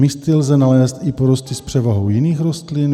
Místy lze nalézt i porosty s převahou jiných rostlin.